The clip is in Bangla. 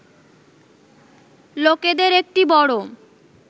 লোকেদের একটি বড়